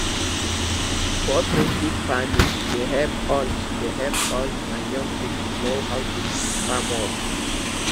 cooperative farming dey help old dey help old and young people know how to do di farm work